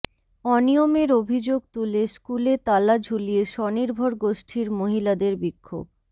অনিয়মের অভিযোগ তুলে স্কুলে তালা ঝুলিয়ে স্বনির্ভর গোষ্ঠীর মহিলাদের বিক্ষোভ